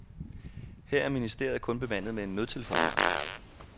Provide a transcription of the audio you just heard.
Her er ministeriet kun bemandet med en nødtelefonvagt.